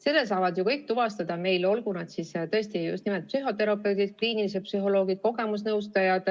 Selle saavad ju kõik tuvastada, olgu nad siis psühhoterapeudid, kliinilised psühholoogid või kogemusnõustajad.